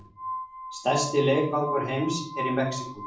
Stærsti leikvangur heims er í Mexíkó